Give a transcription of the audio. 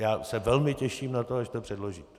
Já se velmi těším na to, až to předložíte.